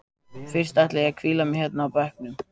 Fyrst ætla ég að hvíla mig hérna á bekknum.